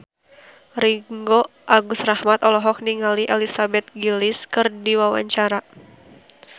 Ringgo Agus Rahman olohok ningali Elizabeth Gillies keur diwawancara